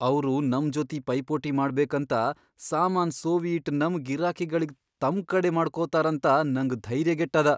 ಅವ್ರು ನಮ್ ಜೊತಿ ಪೈಪೋಟಿ ಮಾಡ್ಬೇಕಂತ ಸಾಮಾನ್ ಸೋವಿ ಇಟ್ ನಮ್ ಗಿರಾಕಿಗಳಿಗ್ ತಮ್ ಕಡೆ ಮಾಡ್ಕೋತಾರಂತ ನಂಗ್ ಧೈರ್ಯ್ಗೆಟ್ಟದ.